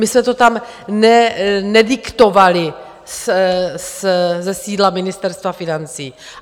My jsme to tam nediktovali ze sídla Ministerstva financí.